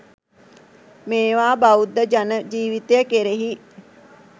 මේවා බෞද්ධ ජන ජීවිතය කෙරෙහි